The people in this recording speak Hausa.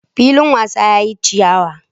Filin wasan yayi chiyawa.